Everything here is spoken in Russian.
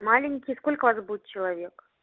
маленький сколько вас будет человек